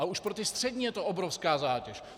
A už pro ty střední je to obrovská zátěž.